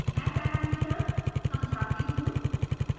मैं parameters समझाती हूँ